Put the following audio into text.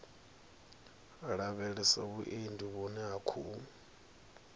lavhelesa vhuendi vhune ha khou